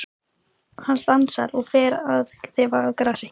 Hann stansar og fer að þefa af grasi.